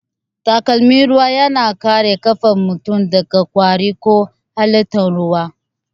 Takalmin ruwa yana kare kafan mutum daga kwari ko halittun ruwa